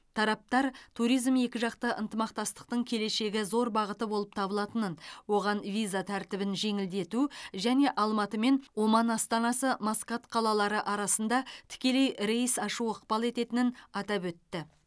тараптар туризм екіжақты ынтымақтастықтың келешегі зор бағыты болып табылатынын оған виза тәртібін жеңілдету және алматы мен оман астанасы маскат қалалары арасында тікелей рейс ашу ықпал ететінін атап өтті